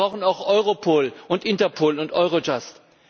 Wir brauchen auch Europol und Interpol und Eurojust.